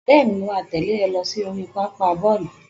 Bẹ́ẹ̀ni, mo máa tẹ̀lé rẹ lọ sí oríi pápá bọ́ọ̀lù